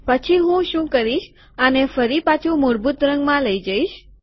પછી હું શું કરીશ કે આને ફરી પાછુ મૂળભૂત રંગમાં લઇ જઈશ